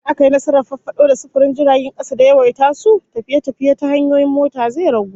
In aka yi nasarar farfado da sufurin jiragen kasa da yawaita su, tafiye-tafiye ta hanyoyin mota zai ragu